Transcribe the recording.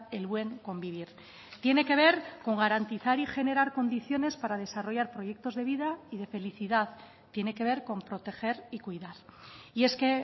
el buen convivir tiene que ver con garantizar y generar condiciones para desarrollar proyectos de vida y de felicidad tiene que ver con proteger y cuidar y es que